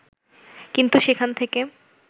কিন্তু সেখান থেকে